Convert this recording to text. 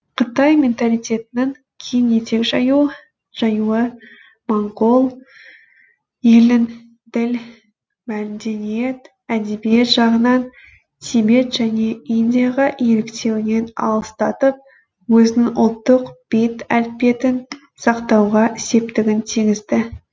қытай менталитетінің кең етек жаюы моңғол елін діл мәдениет әдебиет жағынан тибет және индияға еліктеуінен алыстатып өзінің ұлттық бет әлпетін сақтауға септігін тигізді